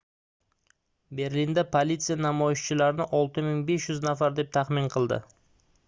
berlinda politsiya namoyishchilarni 6500 nafar deb taxmin qildi